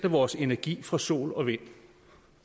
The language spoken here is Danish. af vores energi fra sol og vind